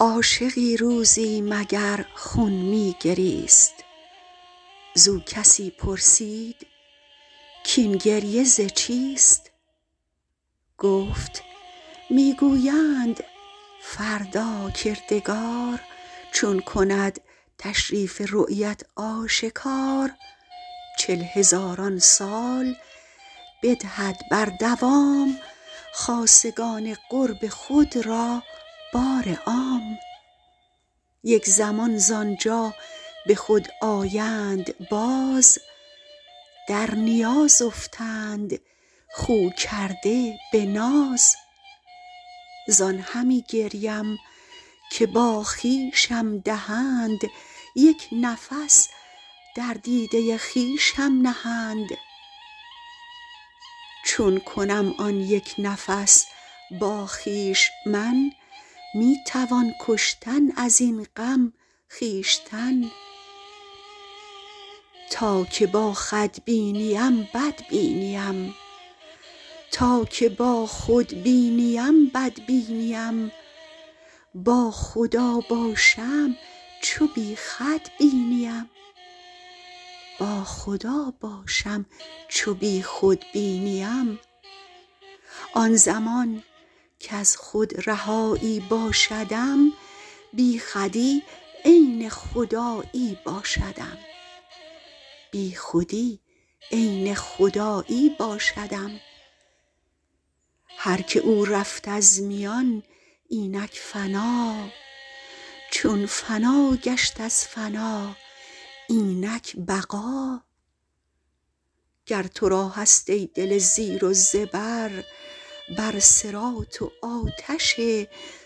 عاشقی روزی مگر خون می گریست زو کسی پرسید کین گریه زچیست گفت می گویند فردا کردگار چون کند تشریف رویت آشکار چل هزاران سال بدهد بردوام خاصگان قرب خود را بار عام یک زمان زانجا به خود آیند باز در نیاز افتند خو کرده به ناز زان همی گریم که با خویشم دهند یک نفس در دیده خویشم نهند چون کنم آن یک نفس با خویش من می توان کشتن ازین غم خویشتن تا که با خود بینیم بد بینیم با خدا باشم چو بی خود بینیم آن زمان کز خود رهایی باشدم بی خودی عین خدایی باشدم هرک او رفت از میان اینک فنا چون فنا گشت از فنا اینک بقا گر ترا هست ای دل زیر و زبر بر صراط و آتش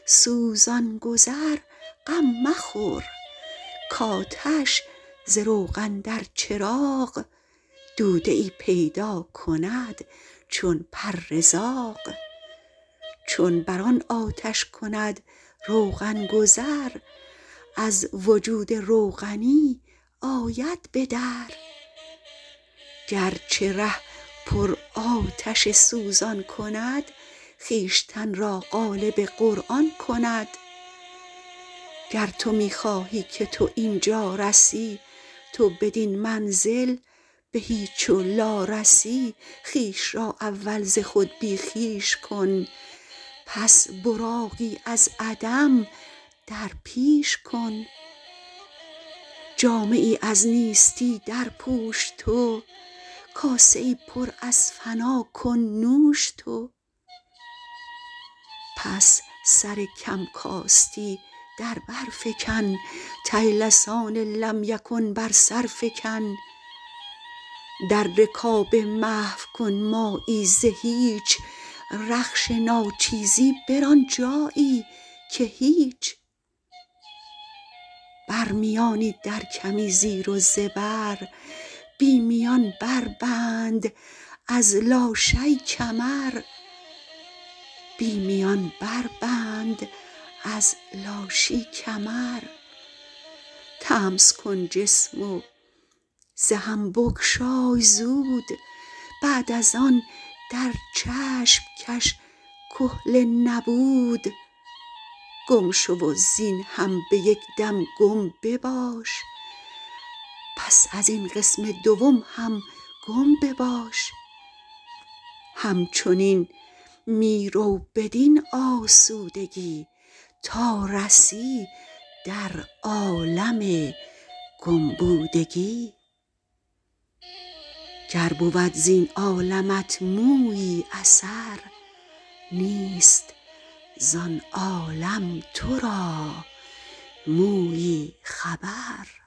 سوزان گذر غم مخور کاتش ز روغن در چراغ دوده ای پیداکند چون پر زاغ چون بر آن آتش کند روغن گذر از وجود روغنی آید بدر گرچه ره پر آتش سوزان کند خویشتن را قالب قرآن کند گر تو می خواهی که تو اینجا رسی تو بدین منزل به هیچ و لا رسی خویش را اول ز خود بی خویش کن پس براقی از عدم درپیش کن جامه ای از نیستی در پوش تو کاسه ای پر از فنا کن نوش تو پس سر کم کاستی در برفکن طیلسان لم یکن بر سرفکن در رکاب محو کن مایی ز هیچ رخش ناچیزی بر آن جایی که هیچ برمیانی در کمی زیر و زبر بی میان بربند از لاشی کمر طمس کن جسم وز هم بگشای زود بعد از آن در چشم کش کحل نبود گم شو وزین هم به یک دم گم بباش پس از این قسم دوم هم گم بباش همچنین می رو بدین آسودگی تا رسی در عالم گم بودگی گر بود زین عالمت مویی اثر نیست زان عالم ترا مویی خبر